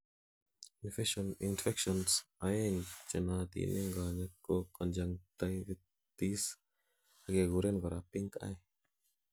infections oeng chenootin en konyek ko conjunctivitis agekuren korak pinkeye